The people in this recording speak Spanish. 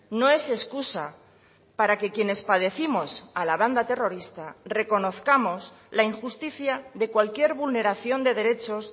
no es excusa para que quienes padécimos a la banda terrorista reconozcamos la injusticia de cualquier vulneración de derechos